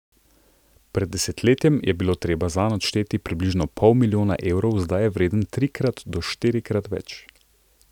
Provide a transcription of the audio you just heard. Pred desetletjem je bilo treba zanj odšteti približno pol milijona evrov, zdaj je vreden trikrat do štirikrat več.